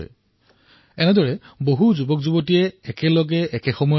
ইমানবোৰ যুৱক প্ৰথমবাৰলৈ নিজৰ ঘৰ এৰি নিজৰ জীৱনক এক নতুন দিশ প্ৰদান কৰাৰ বাবে ওলাই আহে